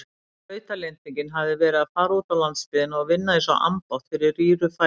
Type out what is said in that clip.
Þrautalendingin hefði verið að fara útá landsbyggðina og vinna einsog ambátt fyrir rýru fæði.